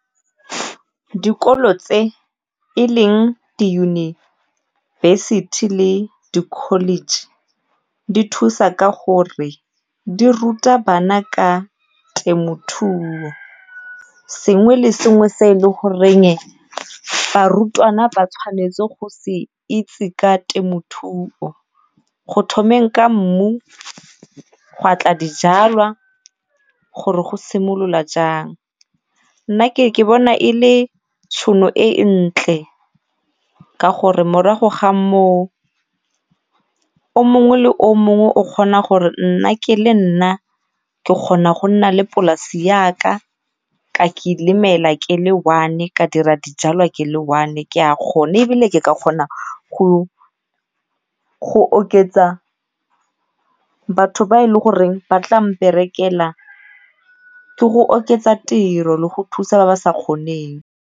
Dikolo tse e leng diyunibesithi le di-college di thusa ka gore di ruta bana ka temothuo, sengwe le sengwe se e le goreng barutwana ba tshwanetse go se itse ka temothuo go thomeng ka mmu, gwa tla dijalwa gore go simolola jang. Nna ke ke bona e le tšhono e e ntle ka gore morago ga moo o mongwe le o mongwe o kgona gore nna ke le nna ke kgona go nna le polase yaka ka ke le one ka dira dijalwa ke le one ke a kgona ebile ke ka kgona go go oketsa batho ba e le goreng ba tla mperekela ke go oketsa tiro le go thusa ba ba sa kgoneng.